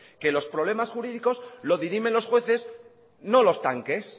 que los problemas jurídicoslo dirimen los jueces no los tanques